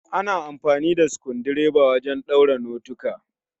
Ana amfani da sukundireba wajen ɗaura notika